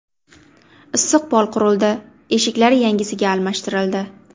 Issiq pol qurildi, eshiklari yangisiga almashtirildi.